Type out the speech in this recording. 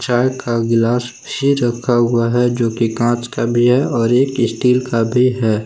चाय का गिलास भी रखा हुआ है जो कि कांच का भी है और एक स्टील का भी है।